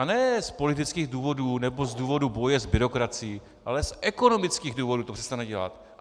A ne z politických důvodů nebo z důvodu boje s byrokracií, ale z ekonomických důvodů to přestane dělat.